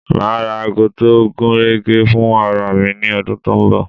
Ma ra ago tó gúnrégé fún ara mi ní ọdún tó ń bọ̀